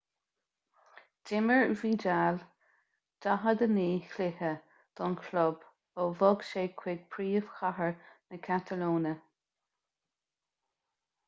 d'imir vidal 49 cluiche don chlub ó bhog sé chuig príomhchathair na catalóine